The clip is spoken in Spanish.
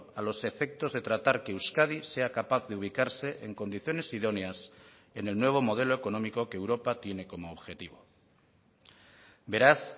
a los efectos de tratar que euskadi sea capaz de ubicarse en condiciones idóneas en el nuevo modelo económico que europa tiene como objetivo beraz